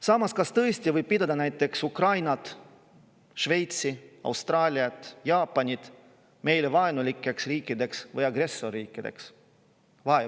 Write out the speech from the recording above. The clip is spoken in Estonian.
Samas, kas tõesti võib pidada näiteks Ukrainat, Šveitsi, Austraaliat, Jaapanit meile vaenulikeks riikideks või agressorriikideks?